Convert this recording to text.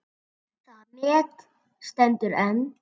Það met stendur enn.